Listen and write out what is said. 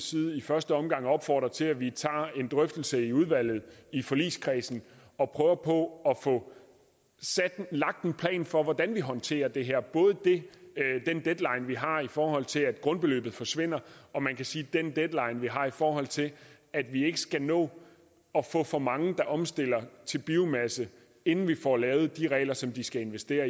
side i første omgang opfordre til at vi tager en drøftelse i udvalget i forligskredsen og prøver på at få lagt en plan for hvordan vi håndterer det her både den deadline vi har i forhold til at grundbeløbet forsvinder og man kan sige den deadline vi har i forhold til at vi ikke skal nå at få for mange der omstiller til biomasse inden vi får lavet de regler som de skal investere